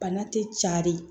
Bana tɛ cari